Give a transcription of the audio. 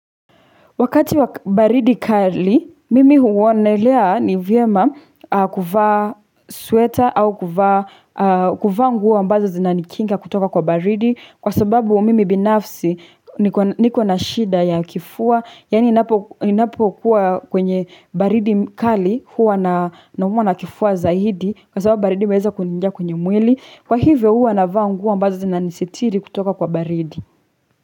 Wakati wa baridi kali, mimi huonelea nivyema kuvaa sweta au kuvaa nguo ambazo zinanikinga kutoka kwa baridi. Kwasababu mimi binafsi niko na shida ya kifua, yani ninapo kuwa kwenye baridi kali huwa naumuwa na kifua zaidi kwasababu baridi imeweza kuniinga kwenye mwili. Kwa hivyo huwa na vaa nguo mbazo zinanisitiri kutoka kwa baridi.